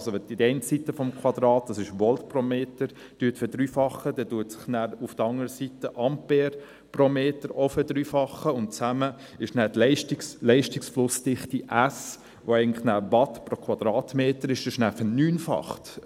wenn Sie also die eine Seite des Quadrats – Volt pro Meter – verdreifachen, dann verdreifachen sich auf der anderen Seite auch die Ampere pro Meter, und zusammen ist nachher die Leistungsflussdichte S, die eigentlich nachher Watt pro Quadratmeter ist, verneunfacht.